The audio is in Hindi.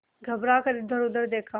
घबरा कर इधरउधर देखा